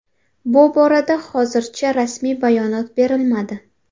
Bu borada hozircha rasmiy bayonot berilmadi.